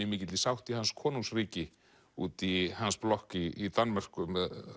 mikilli sátt í hans konungsríki úti í hans blokk í Danmörku